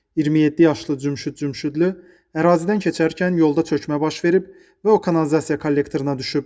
27 yaşlı Cümşüd Cümşüdlü ərazidən keçərkən yolda çökmə baş verib və o kanalizasiya kollektoruna düşüb.